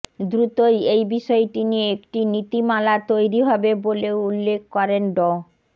দ্রুতই এই বিষয় নিয়ে একটি নীতিমালা তৈরি হবে বলেও উল্লেখ করেন ড